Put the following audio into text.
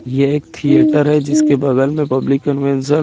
यह एक थिएटर है जिसके बगल में पब्लिक कन्वेंशन --